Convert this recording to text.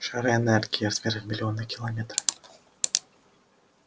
шары энергии размером в миллионы километра